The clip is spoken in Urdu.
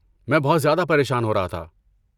میں بہت زیادہ پریشان ہو رہا تھا۔